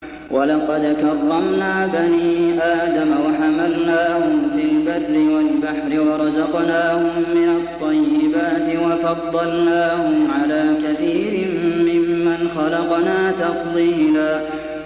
۞ وَلَقَدْ كَرَّمْنَا بَنِي آدَمَ وَحَمَلْنَاهُمْ فِي الْبَرِّ وَالْبَحْرِ وَرَزَقْنَاهُم مِّنَ الطَّيِّبَاتِ وَفَضَّلْنَاهُمْ عَلَىٰ كَثِيرٍ مِّمَّنْ خَلَقْنَا تَفْضِيلًا